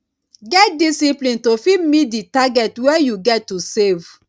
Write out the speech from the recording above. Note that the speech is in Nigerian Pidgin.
get discipline to fit meet di target wey you get to save